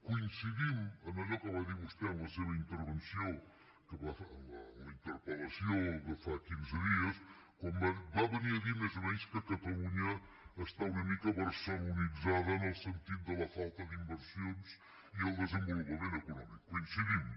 coincidim en allò que va dir vostè en la seva intervenció en la interpel·lació de fa quinze dies quan va venir a dir més o menys que catalunya està una mica barcelonitzada en el sentit de la falta d’inversions i el desenvolupament econòmic hi coincidim